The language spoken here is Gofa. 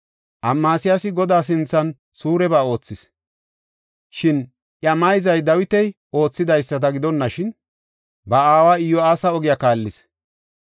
Amasiyaasi Godaa sinthan suureba oothis; shin iya mayzay Dawiti oothidaysada gidonashin, ba aawa Iyo7aasa ogiya kaallis.